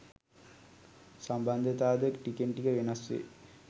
සම්බන්ධතා ද ටිකෙන් ටික වෙනස් වේ